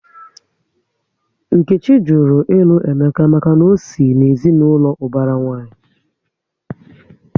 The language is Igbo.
Nkechi jụrụ ilu Emeka maka na ọ sị na ezinaụlọ ubara nwanyi